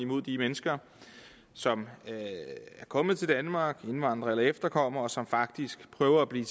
mod de mennesker som er kommet til danmark indvandrere eller efterkommere og som faktisk prøver at blive